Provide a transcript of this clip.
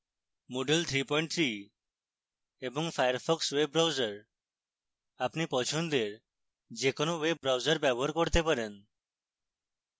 moodle 33 এবং firefox web browser